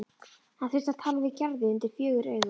Hann þurfti að tala við Gerði undir fjögur augu.